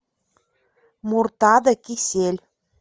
муртада кисель